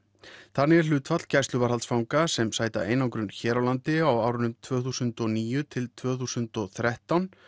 þannig er hlutfall gæsluvarðhaldsfanga sem sæta einangrun hér á landi á árunum tvö þúsund og níu til tvö þúsund og þrettán